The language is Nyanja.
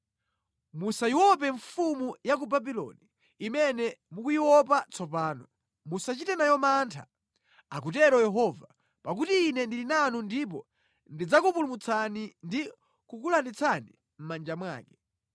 Musayiope mfumu ya ku Babuloni, imene mukuyiopa tsopano. Musachite nayo mantha, akutero Yehova, pakuti Ine ndili nanu ndipo ndidzakupulumutsani ndi kukulanditsani mʼmanja mwake.